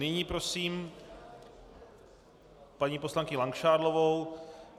Nyní prosím paní poslankyni Langšádlovou.